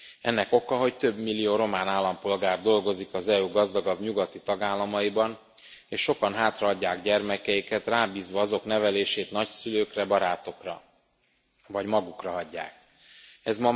Ennek oka, hogy több millió román állampolgár dolgozik az EU gazdagabb nyugati tagállamaiban és sokan hátrahagyják gyermekeiket, rábízva azok nevelését nagyszülőkre, barátokra, vagy magukra hagyják őket.